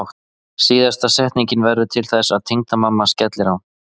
Síðasta setningin verður til þess að tengdamamma skellir á.